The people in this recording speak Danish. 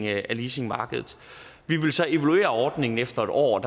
af leasingmarkedet vi vil så evaluere ordningen efter en år